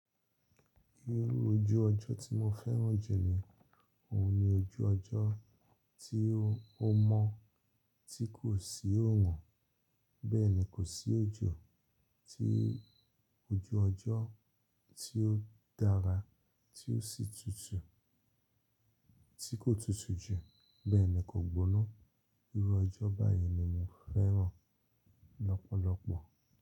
Irú ojú ọjọ́ tí mo fẹ́ràn jù ni, òun ni ojú ọjọ́ tí ó mọ́ tí kò sì óorun, bẹ́ẹ̀ ni kò sí ojo oju ọjọ́ tí ó dára, tí ó sì tutù, tí kò tutù jù, bẹ́ẹ̀ ni kò gbóná. Irú ọjọ́ báyìí ni mo fẹ́ràn lọ́pọ̀lọpọ̀.